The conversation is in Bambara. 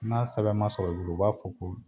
N'a sɛbɛn ma sɔrɔ i bolo u b'a fɔ ko